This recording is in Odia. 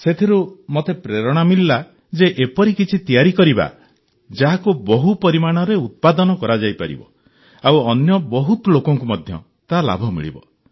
ସେଥିରୁ ମତେ ପ୍ରେରଣା ମିଳିଲା ଯେ ଏପରି କିଛି ତିଆରି କରିବା ଯାହାକୁ ବହୁ ପରିମାଣରେ ଉତ୍ପାଦନ କରାଯାଇପାରିବ ଆଉ ଅନ୍ୟ ବହୁତ ଲୋକଙ୍କୁ ମଧ୍ୟ ତାର ଲାଭ ମିଳିବ